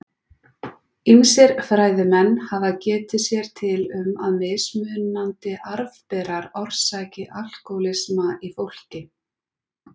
Ýmsir fræðimenn hafa getið sér til um að mismunandi arfberar orsaki alkóhólisma í fólki.